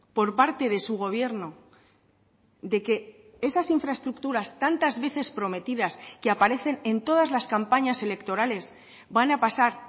por parte de su gobierno de que esas infraestructuras tantas veces prometidas que aparecen en todas las campañas electorales van a pasar